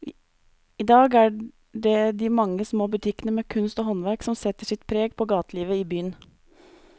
I dag er det de mange små butikkene med kunst og håndverk som setter sitt preg på gatelivet i byen.